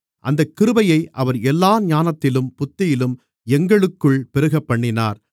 அந்தக் கிருபையை அவர் எல்லா ஞானத்திலும் புத்தியிலும் எங்களுக்குள் பெருகப்பண்ணினார்